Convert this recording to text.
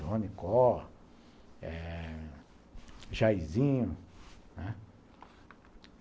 Ronicó eh Jaizinho, né.